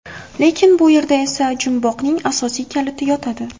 Lekin bu yerda esa jumboqning asosiy kaliti yotadi.